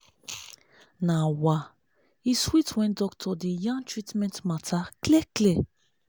na wa! e sweet when doctor dey yarn treatment matter clear clear